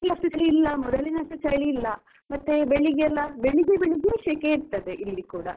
ಈಗ ಅಷ್ಟು ಚಳಿ ಇಲ್ಲ ಮೊದಲಿನಷ್ಟು ಚಳಿಯಲ್ಲ ಇಲ್ಲ. ಮತ್ತೆ ಬೆಳಿಗ್ಗೆಯೆಲ್ಲಾ? ಬೆಳಿಗ್ಗೆ ಬೆಳಿಗ್ಗೆ ಶಕೆ ಇರುತ್ತದೆ ಇಲ್ಲಿ ಕೂಡ.